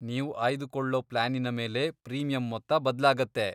ನೀವು ಆಯ್ದುಕೊಳ್ಳೋ ಪ್ಲಾನಿನ ಮೇಲೆ ಪ್ರೀಮಿಯಂ ಮೊತ್ತ ಬದ್ಲಾಗತ್ತೆ.